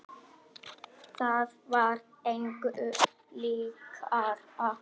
Það var engu líkara en.